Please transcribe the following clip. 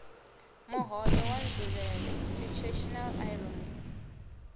muhoyo wa nzulele situational irony